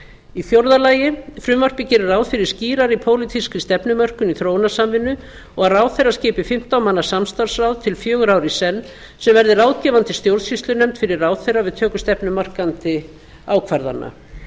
í fjórða lagi frumvarpið gerir ráð fyrir skýrari pólitískri stefnumörkun í þróunarsamvinnu og að ráðherra skipi fimmtán manna samstarfsráð til fjögurra ára í senn sem verði ráðgefandi stjórnsýslunefnd fyrir ráðherra við töku stefnumarkandi ákvarðana